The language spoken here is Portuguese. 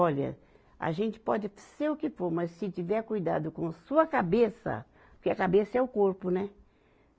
Olha, a gente pode até ser o que for, mas se tiver cuidado com sua cabeça, porque a cabeça é o corpo, né?